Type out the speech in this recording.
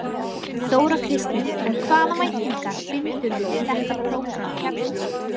Þóra Kristín: En hvaða væntingar bindurðu við þetta prógramm hérna?